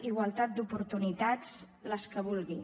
igualtat d’oportunitats les que vulgui